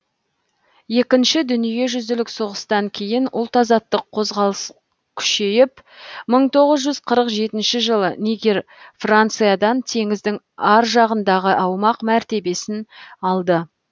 екінші дүниежүзілік соғыстан кейін ұлт азаттық қозғалыс күшейіп мың тоғыз жүз қырық жетінші жылы нигер франциядан теңіздің ар жағындағы аумақ мәртебесін алды